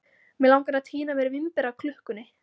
Mig langar að tína mér vínber af klukkunni.